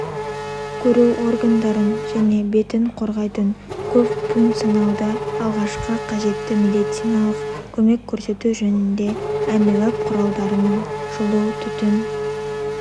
көру органдарын және бетін қорғайтын көпфункцияналды алғашқы қажетті медициналық көмек көрсету жөніндегі әмбебап құралдарының жылутүтін